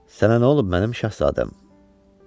Sənə nə olub, mənim şahzadəm?